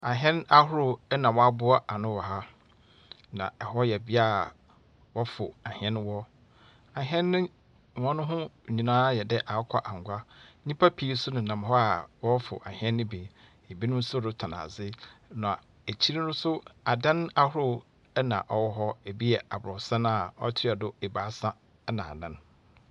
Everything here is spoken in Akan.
Ɛhɛn ahorow ɛna waaboa anu wɔ ha. Na ɛhɔ yɛ bia a wɔ fu ahɛn wɔ Ahɛn no, wɔho nyinaa ayɛ dɛɛ akukɔanwa. Nipa pii so nenam hɔ a wɔforo ahɛn no bi. Ebinom retɔn ade na ekyir no so adan ahorow ɛna ɔwɔ hɔ. Ebi yɛ abrɔsan a ɔtua do ebaasa ɛna anan.